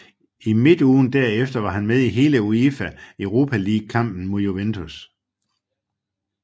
I midtugen derefter var han med i hele UEFA Europa League kampen mod Juventus